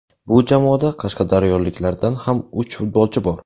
Bu jamoada qashqadaryoliklardan ham uch futbolchi bor.